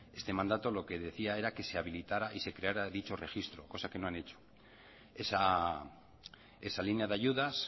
este mandato lo que decía era que se habilitará y se creará dicho registro cosa que no han hecho esa línea de ayudas